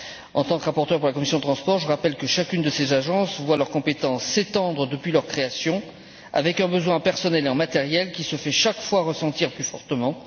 En tant que rapporteur de la commission des transports, je rappelle que toutes ces agences voient leurs compétences s'étendre depuis leur création, avec un besoin en personnel et en matériel qui se fait chaque fois sentir plus fortement.